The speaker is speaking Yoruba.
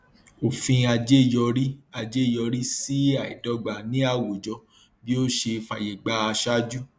òfin ajé yọrí ajé yọrí sí àìdọgba ní àwùjọ bí ó ṣe fàyè gba aṣáájú